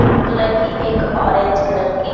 blue colour की एक orange colour की --